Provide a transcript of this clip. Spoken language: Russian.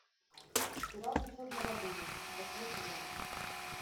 пираты черной лагуны восьмой сезон